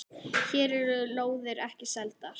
Hér eru lóðir ekki seldar.